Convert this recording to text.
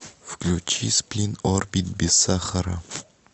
включи сплин орбит без сахара